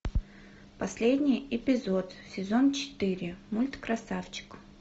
последний эпизод сезон четыре мульт красавчик